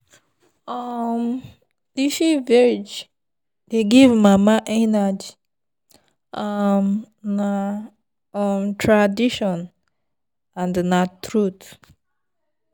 um leafy veg dey give mama energy um na um tradition and na truth.